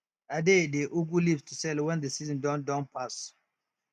i dey dey ugu leaves to sell when the season don don pass